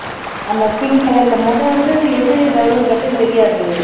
அந்த pink color ல மொத வந்து எது government bus ன்னு தெரியாது